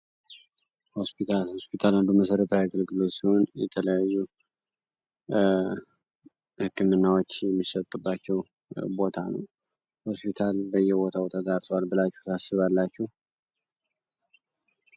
ሆስፒታል ሆስፒታል አንዱ መሠረታዊ አገልግሎት ሲሆን የተለያዩ ህክምናዎችን የሚሰጥባቸው ቦታ ነው። ሆስፒታል በየቦታው ተዳርሷል ስላላችሁ ታስባላችሁ?